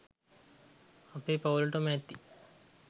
අපේ පවුලටම ඇති